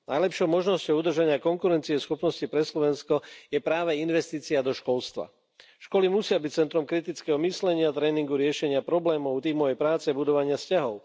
Najlepšou možnosťou udržania konkurencieschopnosti pre Slovensko je práve investícia do školstva. Školy musia byť centrom kritického myslenia, tréningu, riešenia problémov, tímovej práce, budovania vzťahov.